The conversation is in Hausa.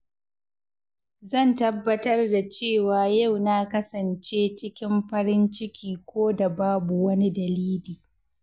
Zan tabbatar da cewa yau na kasance cikin farin ciki ko da Babu wani dalili.